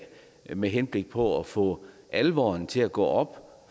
med henblik på at få alvoren til at gå op